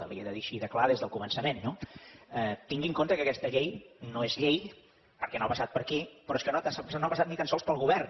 li ho he de dir així de clar des del començament no tingui en compte que aquesta llei no és llei perquè no ha passat per aquí però és que no ha passat ni tan sols pel govern